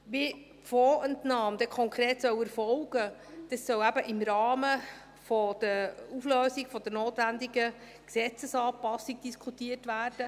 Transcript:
Wie die Fondsentnahme konkret erfolgen soll, soll eben im Rahmen der Auflösung, der notwenigen Gesetzesanpassung diskutiert werden.